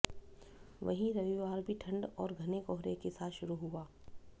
वहीं रविवार भी ठंड और घने कोहरे के साथ शुरू हुआ